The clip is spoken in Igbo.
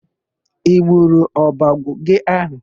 I gburu ọbọgwụ gị áhụ̀?